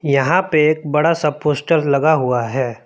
यहां पे एक बड़ा सा पोस्टर लगा हुआ है।